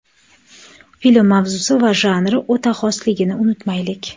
Film mavzusi va janri o‘ta xosligini unutmaylik.